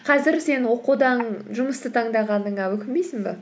қазір сен оқудан жұмысты таңдағаныңа өкінбейсің бе